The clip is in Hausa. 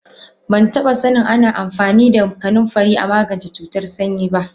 Bantaba sanin Ana amfani da kanunfari amagance cutar sanyi ba.